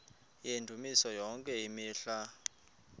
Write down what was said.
yendumiso yonke imihla